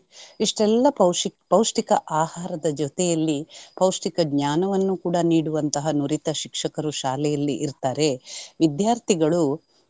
ಇಷ್ಟೆಲ್ಲಾ ಪೌಷ್ಟಿಕ್~ ಪೌಷ್ಟಿಕ ಆಹಾರದ ಜೊತೆಯಲ್ಲಿ ಪೌಷ್ಟಿಕ ಜ್ಞಾನವನ್ನು ಕೂಡಾ ನಿಡುವಂತಹ ನುರಿತ ಶಿಕ್ಷಕರು ಶಾಲೆಯಲ್ಲಿ ಇರ್ತಾರೆ ವಿಧ್ಯಾರ್ಥಿಗಳು.